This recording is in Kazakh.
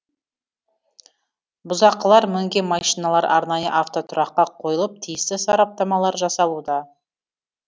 бұзақылар мінген машиналар арнайы автотұраққа қойылып тиісті сараптамалар жасалуда